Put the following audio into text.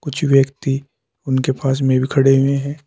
कुछ व्यक्ति उनके पास में भी खड़े हुए हैं।